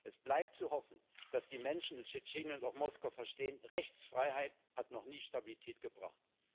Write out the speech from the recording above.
Es bleibt zu hoffen, dass die Menschen in Tschetschenien und auch Moskau verstehen Rechtsfreiheit hat noch nie Stabilität gebracht.